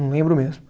Não lembro mesmo.